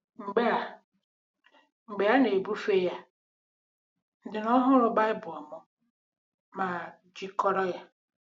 Mgbe a Mgbe a na-ebufe ya, ndị nọn hụrụ Baịbụl m ma Jikọrọ ya.